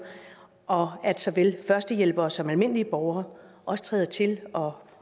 og at såvel førstehjælpere som almindelige borgere også træder til og